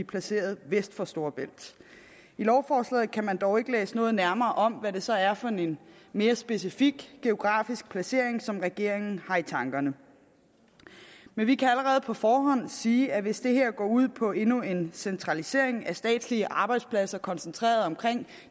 placeret vest for storebælt i lovforslaget kan man dog ikke læse noget nærmere om hvad det så er for en mere specifik geografisk placering som regeringen har i tankerne men vi kan allerede på forhånd sige at hvis det her går ud på endnu en centralisering af statslige arbejdspladser koncentreret omkring